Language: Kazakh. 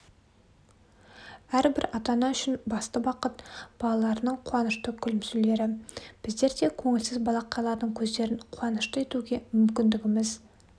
әрбір ата-ана үшін басты бақыт балаларының қуанышты күлімсіреулері біздер де көңілсіз балақайлардың көздерін қуанышты етуге мүмкіндігіміз